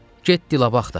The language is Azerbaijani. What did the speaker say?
Get dilab axtar.